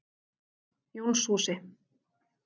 Jónshúsi